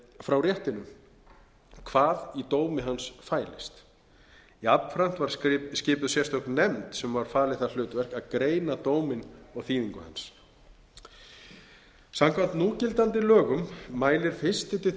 frá réttinum hvað í dómi hans fælist jafnframt var skipuð sérstök nefnd sem var falið það hlutverk að greina dóminn og þýðingu hans samkvæmt núgildandi lögum mælir fyrstu til